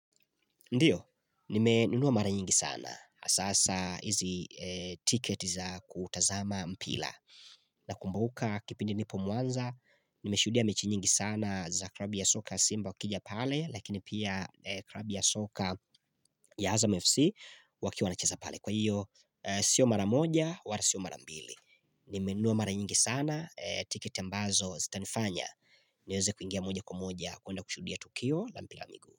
Ndiyo, nimenunua mara nyingi sana. Asasa hizi ticket za kutazama mpila. Nakumbuka kipindi nipo muanza, nimeshuhudia mechi nyingi sana za krabu ya soka Simba ukija pale, lakini pia krabu ya soka ya Azam FC wakiwa wanacheza pale. Kwa hiyo, sio mara moja, wara sio mara mbili. Nimenunua mara nyingi sana, ticket ambazo zitanifanya. Nieze kuingia moja kwa moja, kuenda kushuhudia Tukio la mpira miguu.